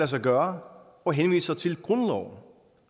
sig gøre og henviser til grundloven